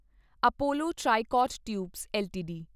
Apollo Tricot Tubes LTD